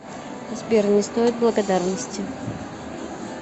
сбер не стоит благодарности